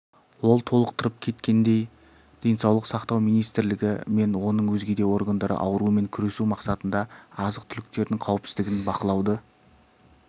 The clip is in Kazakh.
ол толықтырып кеткендей денсаулық сақтау министрлігі мен оның өзгеде органдары аурумен күресу мақсатында азық-түліктердің қауіпсіздігін бақылауды